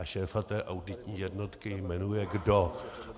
A šéfa té auditní jednotky jmenuje kdo?